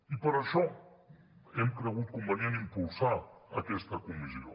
i per això hem cregut convenient impulsar aquesta comissió